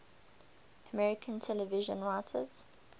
american television writers